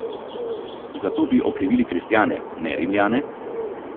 Za to bi okrivili kristjane, ne Rimljane?